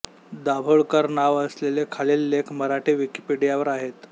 दाभोळकर नाव असलेले खालील लेख मराठी विकिपीडियावर आहेत